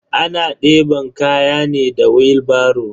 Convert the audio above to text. Ana deban kaya ne da wilbaro.